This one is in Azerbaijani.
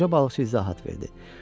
Qoca balıqçı izahat verdi.